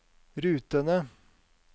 rutene